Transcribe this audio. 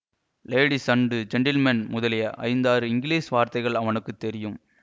ladies and gentlemen முதலிய ஐந்தாறு English வார்த்தைகள் அவனுக்கு தெரியும்